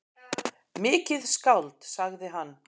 Mikið skáld, sagði hann.